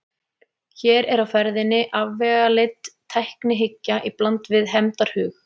Hér er á ferðinni afvegaleidd tæknihyggja í bland við hefndarhug.